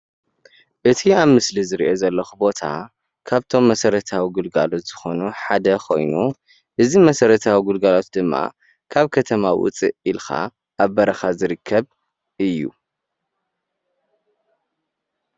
እዚ ኣብ ምስሊ ዝሪኦ ዘለኩ ቦታ ካብቶም መሰረታዊ ግልጋሎት ዝኮኑ ሓደ ኮይኑ እዚ መሰረታዊ ግልጋላት ድማ ካብ ከተማ ውፅእ ኢልካ ኣብ በረካ ዝርከብ እዩ፡፡